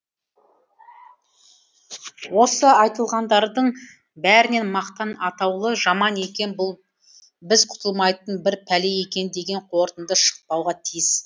осы айтылғандардың бәрінен мақтан атаулы жаман екен бұл біз құтылмайтын бір пәле екен деген қорытынды шықпауға тиіс